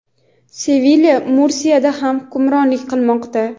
Sevilya va Mursiyada ham hukmronlik qilmoqda.